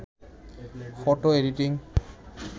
photo editing